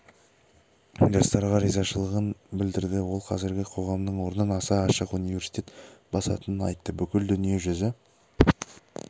жастарға ризашылығын білдірді ол қазіргі қоғамның орнын осы ашық университет басатынын айтты бүкіл дүние жүзі